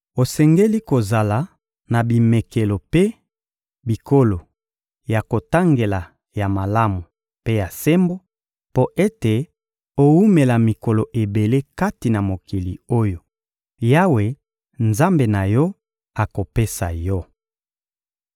Osengeli kozala na bimekelo mpe bikolo ya kotangela ya malamu mpe ya sembo, mpo ete owumela mikolo ebele kati na mokili oyo Yawe, Nzambe na yo, akopesa yo.